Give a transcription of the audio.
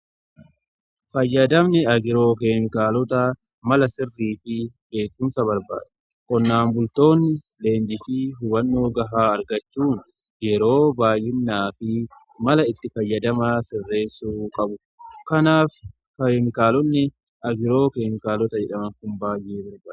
Fayyadamni agiroo keemikaalota mala sirrii fi beekumsa barbaada. Qonnaan bultoonni leenjii fi hubannoo gahaa argachuun yeroo baay'inaa fi mala itti fayyadamaa sirreessuu qabu. Kanaaf keeemikaalonni agiroo keemikaalota jedhamu tun baay'ee barbaadamu.